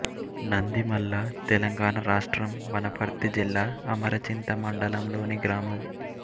నందిమల్ల తెలంగాణ రాష్ట్రం వనపర్తి జిల్లా అమరచింత మండలంలోని గ్రామం